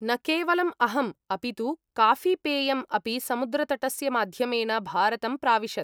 न केवलम् अहम्, अपि तु काफीपेयम् अपि समुद्रतटस्य माध्यमेन भारतं प्राविशत्।